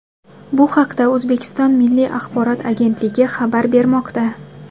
Bu haqda O‘zbekiston Milliy axborot agetnligi xabar bermoqda .